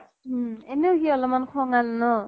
উম । এনেও সি অলপ্মান খঙাল ন ?